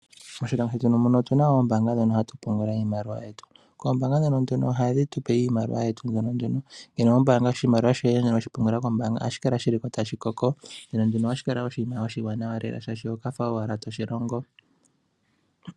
Moshilongo shetu otu na mo oombaanga dhono hatu pungula iimaliwa yetu ombaanga dhetu ohadhi tu pe iimaliwa yetu mbyoka tu na ,ngele owa mbaanga oshimaliwa kombaanga ohashi kala ko tashi koko ohashi kala wo oshiwanawa lela, molwashono oho kala owala wa fa to shi longo.